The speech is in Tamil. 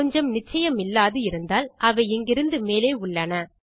கொஞ்சம் நிச்சயமில்லாது இருந்தால் அவை இங்கிருந்து மேலே உள்ளன